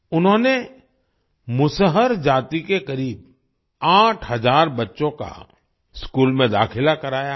उन्होंने मुसहर जाति के करीब 8 हज़ार बच्चों का स्कूल में दाखिला कराया है